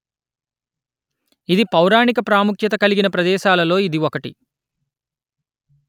ఇది పౌరాణిక ప్రాముఖ్యత కలిగిన ప్రదేశాలలో ఇది ఒకటి